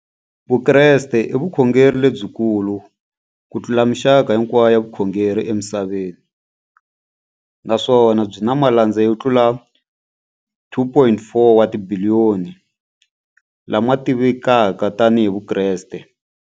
Vukreste i vukhongeri lebyi kulu kutlula mixaka hinkwayo ya vukhongeri emisaveni, naswona byi na malandza yo tlula 2.4 wa tibiliyoni, la ma tiviwaka tani hi Vakreste.